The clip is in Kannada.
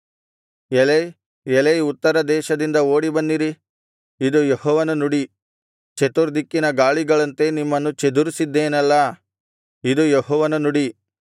ಎಲೈ ಎಲೈ ಉತ್ತರದೇಶದಿಂದ ಓಡಿ ಬನ್ನಿರಿ ಇದು ಯೆಹೋವನ ನುಡಿ ಚತುರ್ದಿಕ್ಕಿನ ಗಾಳಿಗಳಂತೆ ನಿಮ್ಮನ್ನು ಚದುರಿಸಿದ್ದೆನಲ್ಲಾ ಇದು ಯೆಹೋವನ ನುಡಿ